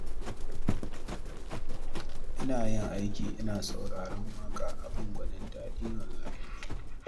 Ina yin aiki ina sauraren waƙa abin gwanin daɗi wallahi